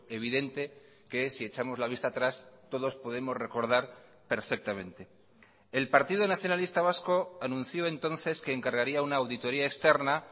evidente que si echamos la vista atrás todos podemos recordar perfectamente el partido nacionalista vasco anunció entonces que encargaría una auditoría externa